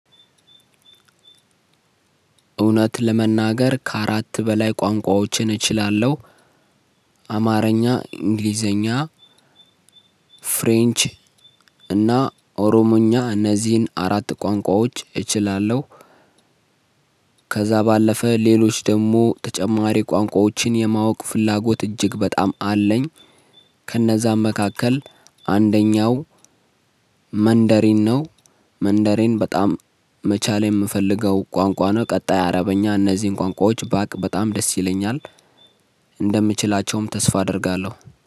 እውነት ለመናገር ከአራት በላይ ቋንቋዎችን እችላለሁ። አማርኛ :እንግሊዘኛ :ፍሬንች: እና ኦሮሞኛ እነዚህን አራት ቋንቋዎች እችላለሁ። ከዛ ባለፈ ሌሎች ደሞ ተጨማሪ ቋንቋዎችን የማወቅ ፍላጎት እጅግ በጣም አለኝ። ከነዛም መካከል አንደኛው መንደሬን ነው። መንደሬን በጣም መቻል የምፈልገው ቋንቋ ነው። ቀጣይ አረበኛ እነዚህን ቋንቋዎች ባቅ በጣም ደስ ይለኛል። እንደምችላቸውም ተስፋ አደርጋለሁ።